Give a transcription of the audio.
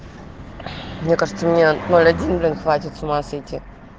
мне кажется меня ноль один блин хватит с ума сойти